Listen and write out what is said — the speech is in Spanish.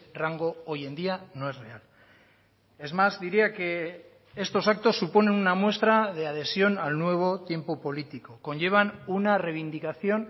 rango hoy en día no es real es más diría que estos actos suponen una muestra de adhesión al nuevo tiempo político conllevan una reivindicación